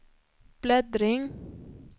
bläddring